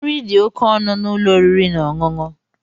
Nri di òkè ọnụ na ụlọ oriri na ọṅụṅụ.